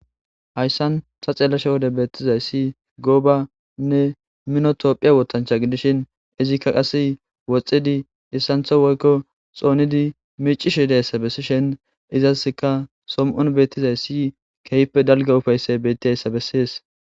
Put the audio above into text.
hayssan ta xeelasha wode beettizaysi goobanne minotopphiya woothancha gidishin izikka qase woxxidi issantho woykko xoonidi miicishi deyssa bessishen izaska som7on beettizay si keehpe dalga ufaysse bettidayssa besses